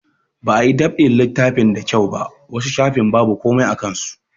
Ba a yi dab'in littafin da kyau ba, wasu shafin babu komai a kan su.